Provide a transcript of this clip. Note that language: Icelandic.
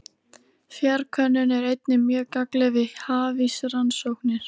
Fjarkönnun er einnig mjög gagnleg við hafísrannsóknir.